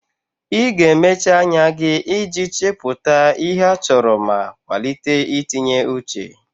Ị ga-emechi anya gị iji chepụta ihe a chọrọ ma kwalite itinye uche.